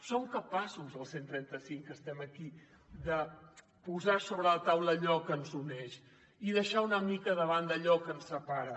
som capaços els cent i trenta cinc que estem aquí de posar sobre la taula allò que ens uneix i deixar una mica de banda allò que ens separa